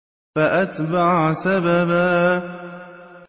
فَأَتْبَعَ سَبَبًا